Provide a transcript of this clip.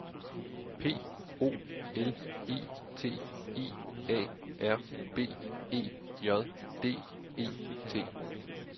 P O L I T I A R B E J D E T